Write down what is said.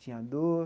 Tinha dor.